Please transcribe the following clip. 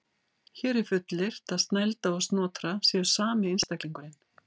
Hér er fullyrt að Snælda og Snotra séu sami einstaklingurinn.